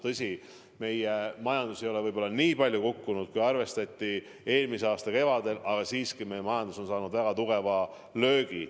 Tõsi, meie majandus ei ole võib-olla nii palju kukkunud, kui arvestati eelmise aasta kevadel, aga siiski meie majandus on saanud väga tugeva löögi.